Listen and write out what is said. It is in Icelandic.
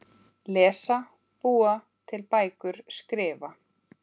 Lesa- búa til bækur- skrifa